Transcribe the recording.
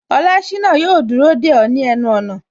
Olashina yo dúró de o ni ẹnu ona